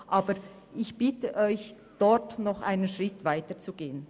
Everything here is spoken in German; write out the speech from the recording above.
Ich bitte Sie, dort einen Schritt weiterzugehen.